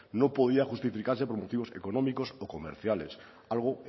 no podía justificarse por motivos económicos o comerciales algo